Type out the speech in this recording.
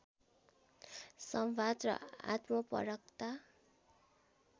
संवाद र आत्मपरकता